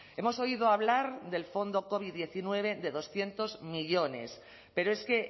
hemos oído hablar del fondo covid diecinueve de doscientos millónes pero es que